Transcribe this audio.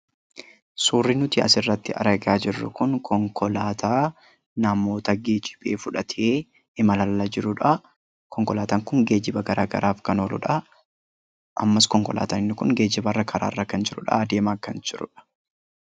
Suurri nuti asirratti argaa jirru kun konkolaataa namoota fudhatee geejjibee imalarra jirudha. Konkolaataan kun geejjibaf kan ooludha. Deemaa kan jiruu fi karaarra kan jirudha